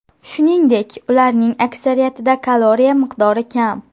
Shuningdek, ularning aksariyatida kaloriya miqdori kam.